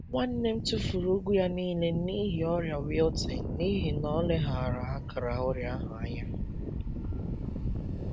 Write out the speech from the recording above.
Nwanne m tụfuru ugu ya niile n’ihi ọrịa wilting n’ihi na o leghaara akara ọrịa ahụ anya.